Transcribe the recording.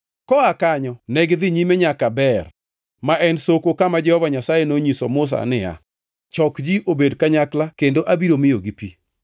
Koa kanyo negidhi nyime nyaka Beer, ma en soko kama Jehova Nyasaye nonyisoe Musa niya, “Chok ji obed kanyakla kendo abiro miyogi pi.”